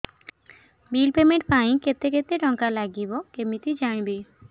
bill payment ପାଇଁ କେତେ କେତେ ଟଙ୍କା ଲାଗିବ କେମିତି ଜାଣିବି